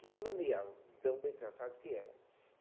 Chega, de tão bem tratado que era.